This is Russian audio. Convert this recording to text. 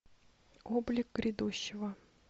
облик грядущего